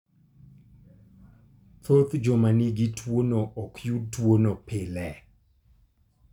Thoth joma nigi tuwono ok yud tuwono pile.